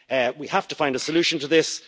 We have to find a solution to this